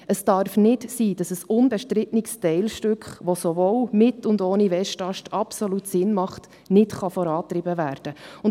Es darf nicht sein, dass ein unbestrittenes Teilstück, das sowohl mit als auch ohne Westast absolut Sinn macht, nicht vorangetrieben werden kann.